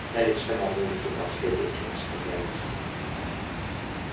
на лице мамульки последовательно сменялись